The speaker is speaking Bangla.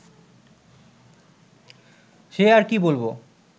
সে আর কি বলব